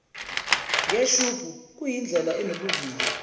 ngeshubhu kuyindlela enobuvila